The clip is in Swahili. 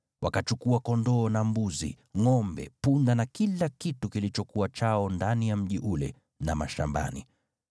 Wakachukua kondoo na mbuzi, ngʼombe, punda na kila kitu kilichokuwa chao ndani ya mji ule na mashambani.